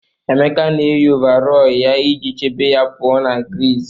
Emeka na-eyi ọvarọọr ya iji chebe ya pụọ ​​na griiz.